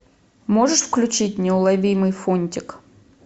можешь включить неуловимый фунтик